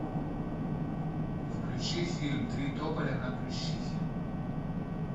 включи фильм три тополя на плющихе